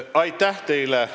Aitäh teile!